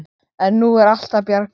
En nú er allt að bjargast.